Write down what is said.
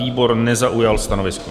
Výbor nezaujal stanovisko.